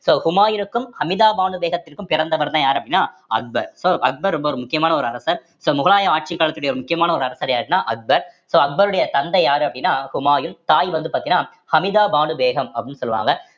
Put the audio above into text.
so ஹுமாயூருக்கும் அமிதா பானு பேகத்திற்கும் பிறந்தவர்தான் யாரு அப்படின்னா அக்பர் so அக்பர் ரொம்ப ஒரு முக்கியமான ஒரு அரசர் so முகலாய ஆட்சிக் காலத்துடைய ஒரு முக்கியமான ஒரு அரசர் யாருன்னா அக்பர் so அக்பருடைய தந்தை யாரு அப்படின்னா ஹுமாயூன் தாய் வந்து பார்த்தீங்கன்னா அமிதா பானு பேகம் அப்படின்னு சொல்லுவாங்க